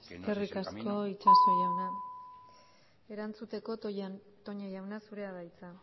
que no es ese el camino eskerrik asko itxaso jauna erantzuteko toña jauna zurea da hitza